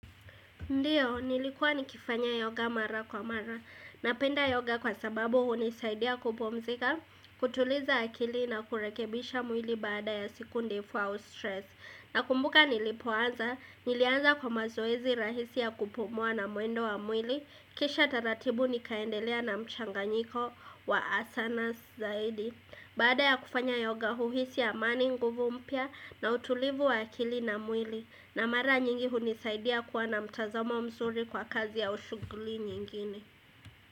Ndio, nilikuwa nikifanya yoga mara kwa mara, napenda yoga kwa sababu hunisaidia kupumzika, kutuliza akili na kurekebisha mwili baada ya siku ndefu au stress. Nakumbuka nilipoanza, nilianza kwa mazoezi rahisi ya kupumua na mwendo wa mwili, kisha taratibu nikaendelea na mchanganyiko wa asanas zaidi. Baada ya kufanya yoga huhisi amani nguvu mpya na utulivu wa akili na mwili na mara nyingi hunisaidia kuwa na mtazamo mzuri kwa kazi au shughuli nyingine.